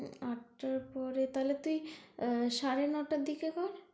আটটার পরে তাহলে তুই সাড়ে নটার দিকে কর।